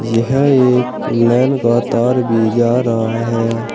यह एक लाइन का तार भी जा रहा है।